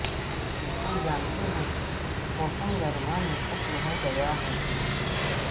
ہم جانتے ہیں کہ موسم گرما میں ختم ہو گیا ہے کہ